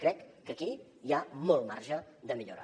crec que aquí hi ha molt marge de millora